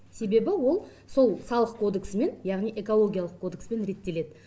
себебі ол сол салық кодексімен яғни экологиялық кодекспен реттеледі